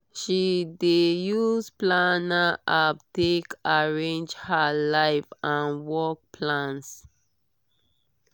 she dey use planner app take arrange her life and work plans.